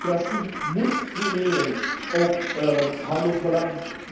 Democratie moet primeren op handelsbelang.